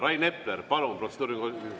Rain Epler, palun, protseduuriline küsimus!